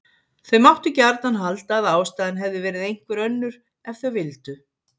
Þau máttu gjarnan halda að ástæðan hefði verið einhver önnur ef þau vildu.